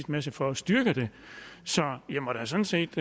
masse for at styrke det så jeg må da sådan set